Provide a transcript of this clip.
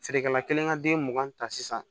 Feerekɛla kelen ka den mugan ta sisan